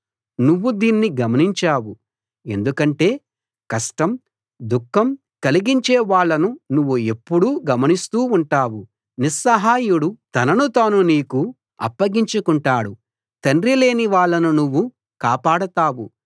నువ్వు దీన్ని గమనించావు ఎందుకంటే కష్టం దుఖం కలిగించే వాళ్ళను నువ్వు ఎప్పుడూ గమనిస్తూ ఉంటావు నిస్సహాయుడు తనను తాను నీకు అప్పగించుకుంటాడు తండ్రిలేని వాళ్ళను నువ్వు కాపాడతావు